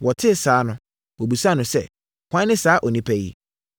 Wɔtee saa no, wɔbisaa no sɛ, “Hwan ne saa onipa yi?”